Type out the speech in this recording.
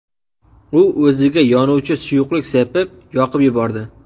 U o‘ziga yonuvchi suyuqlik sepib, yoqib yubordi.